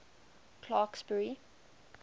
clarksburry